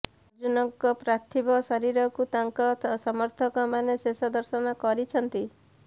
ଅର୍ଜୁନଙ୍କ ପାର୍ଥିବ ଶରୀରକୁ ତାଙ୍କ ସମର୍ଥକ ମାନେ ଶେଷ ଦର୍ଶନ କରିଛନ୍ତି